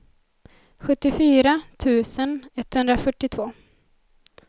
sjuttiofyra tusen etthundrafyrtiotvå